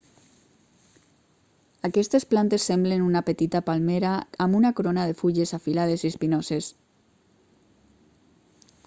aquestes plantes semblen una petita palmera amb una corona de fulles afilades i espinoses